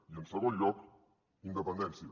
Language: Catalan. i en segon lloc independència